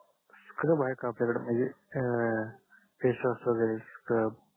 scrub आहे का आपल्या कडे म्हणजे फेस वॉश वगेरे स्क्रब